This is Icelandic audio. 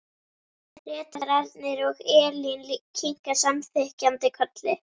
Ritararnir og Elín kinka samþykkjandi kolli.